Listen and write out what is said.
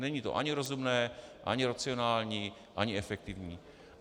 Není to ani rozumné ani racionální ani efektivní.